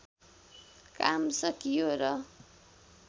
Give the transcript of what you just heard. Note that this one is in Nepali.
काम सकियो र